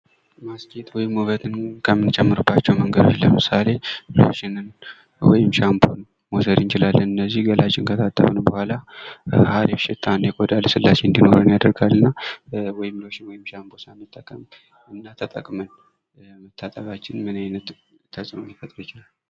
ማስጌጥ ሎሽን ወይም ዉበትን ከምንጨርባቸው ነገሮች ዉስጥ ለምሳሌ ወይም ሻምፕን መዉሰድ እንችላለን እነዚህ ገላችን ከታጠብን በኋላአሪፍ ሽታን የቆዳ ልስላሴን እንዲኖረን ለማድረገና ወይም ሎሽን ወይም ሻምፖ ሳንጠቀም እና ተጠቅመን መታጠባችን ምን አይነት ተጽእኖ ይፈጥራል።